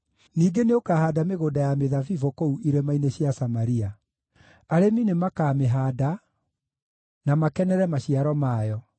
Ningĩ nĩũkahaanda mĩgũnda ya mĩthabibũ kũu irĩma-inĩ cia Samaria; arĩmi nĩmakamĩhaanda, na makenere maciaro mayo.